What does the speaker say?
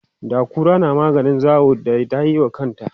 da kura na maganin zawo da tayiwa kanta